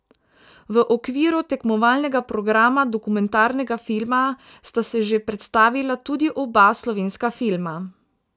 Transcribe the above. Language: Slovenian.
V okviru tekmovalnega programa dokumentarnega filma sta se že predstavila tudi oba slovenska filma.